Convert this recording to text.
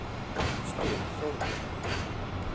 spyr Þórður